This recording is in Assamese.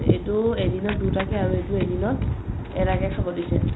এইটো এদিনত দুটাকে আৰু এইটো এদিনত এটাকে খাব দিছে ।